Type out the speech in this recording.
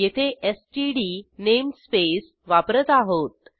येथे STD namespace वापरत आहोत